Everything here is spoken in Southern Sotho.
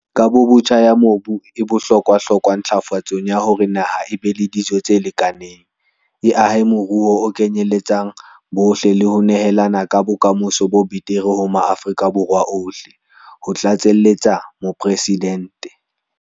Kabobotjha ya mobu e bohlokwahlokwa ntlafatsong ya hore naha e be le dijo tse lekaneng, e ahe moruo o kenyeletsang bohle le ho nehela ka bokamoso bo betere ho Maafrika Borwa ohle, ho tlatseletsa Mopresidente.